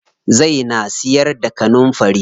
Zai na siyar da kanunfari.